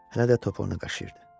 Hələ də topuğunu qaşıyırdı.